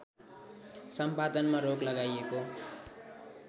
सम्पादनमा रोक लगाईएको